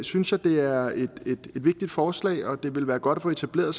synes jeg det er et vigtigt forslag og det ville være godt at få etableret